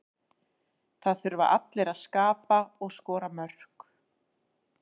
Það þurfa allir að skapa og skora mörk.